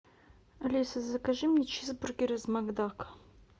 алиса закажи мне чизбургер из макдака